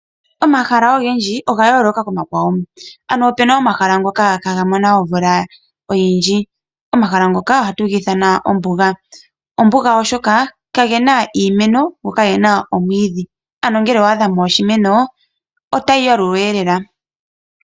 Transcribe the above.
Omahala ogendji oga yooloka komakwawo. Opu na omahala ngoka ihaaga mono omuloka gwa gwana nomahala ngoka ohaga ithanwa ombuga. Ombuga oshoka kamu na iimeno mo kamu na omwiidhi. Ngele owa adha mo oshimeno otayi yalulwa lela.